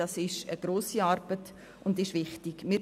Das ist eine grosse und wichtige Arbeit.